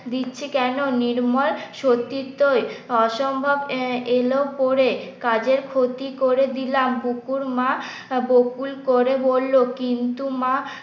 দিচ্ছি কেন নির্মল সত্যি তো অসম্ভব এলো পরে কাজের ক্ষতি করে দিলাম বুকুর মা করে বলল কিন্তু মা